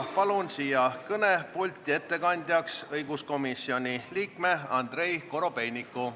Palun siia kõnepulti ettekandeks õiguskomisjoni liikme Andrei Korobeiniku.